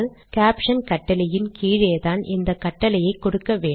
caption கட்டளையின் கீழேதான் இந்த கட்டளையை கொடுக்க வேண்டும்